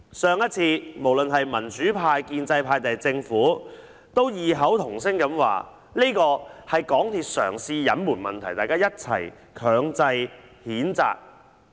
上一次，無論是民主派、建制派或政府都異口同聲說這是港鐵公司嘗試隱瞞問題，大家一起作出強烈譴責。